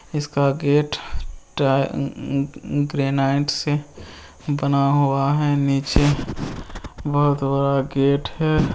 इसका गेट ट अ अ ग्रेनाइट से बना हुआ है नीचे बहोत बड़ा गेट है।